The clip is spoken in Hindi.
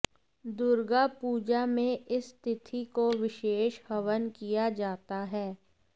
दुर्गा पूजा में इस तिथि को विशेष हवन किया जाता है